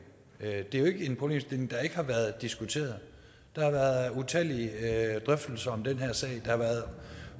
er jo ikke en problemstilling der ikke har været diskuteret der har været utallige drøftelser om den her sag der har været